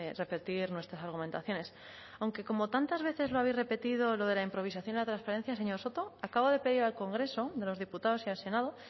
repetir nuestras argumentaciones aunque como tantas veces lo habéis repetido lo de la improvisación de la transferencia señor soto acabo de pedir al congreso de los diputados y al senado